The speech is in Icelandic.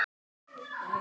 Í umspili vann svo Axel.